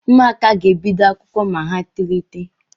ụmụaka ga-ebido akwụkwọ ma ha tolite